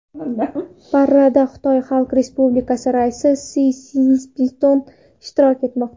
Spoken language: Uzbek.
Paradda Xitoy Xalq Respublikasi raisi Si Szinpin ishtirok etmoqda.